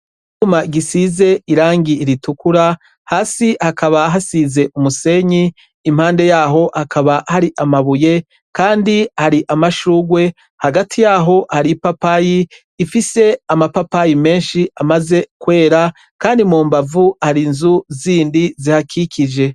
icumba giisize irangi ritukura hasi hakaba hasize umusenyi impande yaho hakaba hari amabuye Kandi hari amashurwe Hagati yaho ipapaye Ifise amapapaye menshi amaze kwera Kandi mumbavu hari zibiri zihakikije.